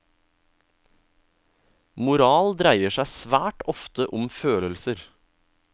Moral dreier seg svært ofte om følelser.